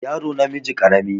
yaro namiji karami